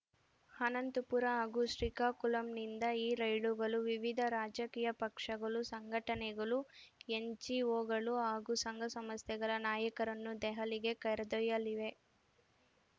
ಅನಂತಪುರ ಹಾಗೂ ಶ್ರೀಕಾಕುಳಂನಿಂದ ಈ ರೈಲುಗಳು ವಿವಿಧ ರಾಜಕೀಯ ಪಕ್ಷಗಳು ಸಂಘಟನೆಗಳು ಎನ್‌ಜಿಒಗಳು ಹಾಗೂ ಸಂಘಸಂಸ್ಥೆಗಳ ನಾಯಕರನ್ನು ದೆಹಲಿಗೆ ಕರೆದೊಯ್ಯಲಿವೆ